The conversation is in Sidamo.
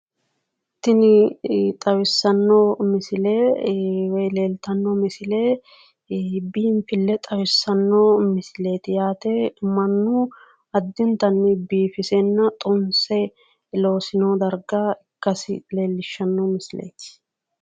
Tini xawissanno misile woyi leeltanno misile biinfille xawissanno misileeti yaate. Mannu addintanni biifisenna xunse loosino daarga ikkasi leellishshanno misileeti.